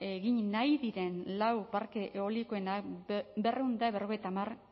egin nahi diren lau parke eolikoenak berrehun eta berrogeita hamar